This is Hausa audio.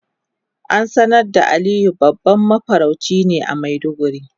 An sanar da Aliyu babban mafarauci a maiduguri.